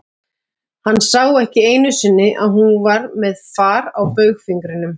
Hann sá ekki einu sinni að hún væri með far á baugfingrinum.